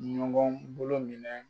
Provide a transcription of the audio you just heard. Ɲɔgɔn bolo minɛ.